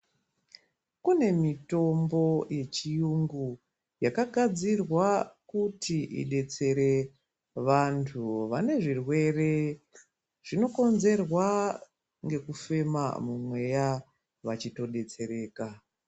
Kune mitombo yechirungu yakagadzirwa kuti idetsere vantu vane zvirwere zvinokonzerwa ngekufema mumweya vachitodetsereka.